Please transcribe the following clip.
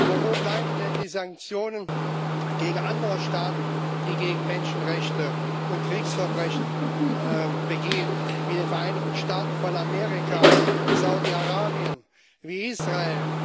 Aber wo bleiben denn die Sanktionen gegen andere Staaten, die gegen Menschenrechte verstoßen und Kriegsverbrechen begehen wie die Vereinigten Staaten von Amerika, wie Saudi Arabien, wie Israel?